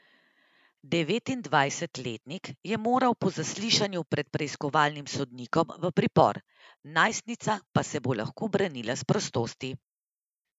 Devetindvajsetletnik je moral po zaslišanju pred preiskovalnim sodnikom v pripor, najstnica pa se bo lahko branila s prostosti.